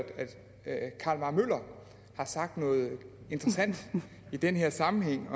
carl mar møller har sagt noget interessant i den her sammenhæng